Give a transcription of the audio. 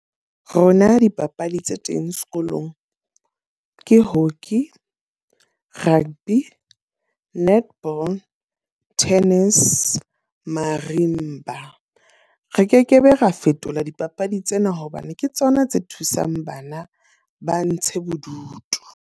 Rona dipapadi tse teng sekolong ke hockey, rugby, netball, tennis, marimba. Re ke ke be ra fetola dipapadi tsena hobane ke tsona tse thusang bana ba ntshe bodutu.